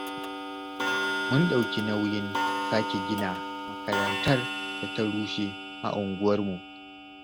Mun ɗauki nauyin sake gina makarantar da ta rushe a unguwarmu.